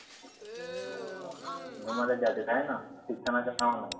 घुमायलाच जाते हायना? शिक्षणाच्या नावानं.